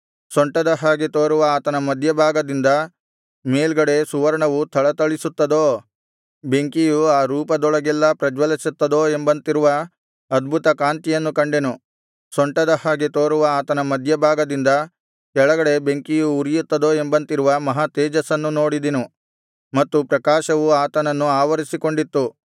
ಸೊಂಟದ ಹಾಗೆ ತೋರುವ ಆತನ ಮಧ್ಯಭಾಗದಿಂದ ಮೇಲ್ಗಡೆ ಸುವರ್ಣವು ಥಳಥಳಿಸುತ್ತದೋ ಬೆಂಕಿಯು ಆ ರೂಪದೊಳಗೆಲ್ಲಾ ಪ್ರಜ್ವಲಿಸುತ್ತದೋ ಎಂಬಂತಿರುವ ಅದ್ಭುತಕಾಂತಿಯನ್ನು ಕಂಡೆನು ಸೊಂಟದ ಹಾಗೆ ತೋರುವ ಆತನ ಮಧ್ಯಭಾಗದಿಂದ ಕೆಳಗಡೆ ಬೆಂಕಿಯು ಉರಿಯುತ್ತದೋ ಎಂಬಂತಿರುವ ಮಹಾ ತೇಜಸ್ಸನ್ನು ನೋಡಿದೆನು ಮತ್ತು ಪ್ರಕಾಶವು ಆತನನ್ನು ಆವರಿಸಿಕೊಂಡಿತ್ತು